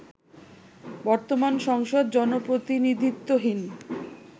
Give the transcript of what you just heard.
বর্তমান সংসদ জনপ্রতিনিধিত্বহীন